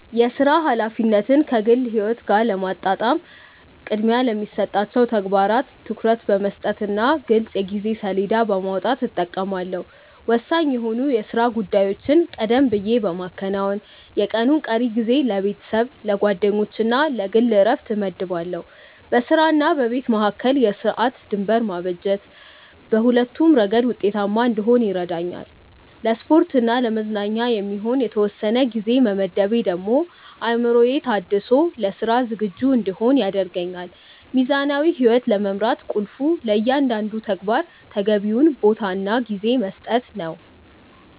የሥራ ኃላፊነትን ከግል ሕይወት ጋር ለማጣጣም ቅድሚያ ለሚሰጣቸው ተግባራት ትኩረት በመስጠትና ግልጽ የጊዜ ሰሌዳ በማውጣት እጠቀማለሁ። ወሳኝ የሆኑ የሥራ ጉዳዮችን ቀደም ብዬ በማከናወን፣ የቀኑን ቀሪ ጊዜ ለቤተሰብ፣ ለጓደኞችና ለግል ዕረፍት እመድባለሁ። በሥራና በቤት መካከል የሰዓት ድንበር ማበጀት በሁለቱም ረገድ ውጤታማ እንድሆን ይረዳኛል። ለስፖርትና ለመዝናኛ የሚሆን የተወሰነ ጊዜ መመደቤ ደግሞ አእምሮዬ ታድሶ ለሥራ ዝግጁ እንድሆን ያደርገኛል። ሚዛናዊ ሕይወት ለመምራት ቁልፉ ለእያንዳንዱ ተግባር ተገቢውን ቦታና ጊዜ መስጠት ነው።